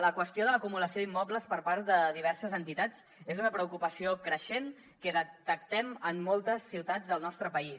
la qüestió de l’acumulació d’immobles per part de diverses entitats és una preocupació creixent que detectem en moltes ciutats del nostre país